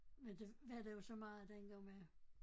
Men det var der jo så meget dengang med